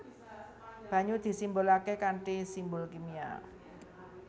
Banyu disimbolaké kanthi simbol kimia